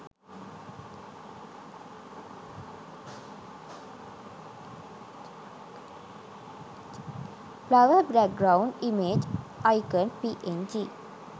flower backround image icon png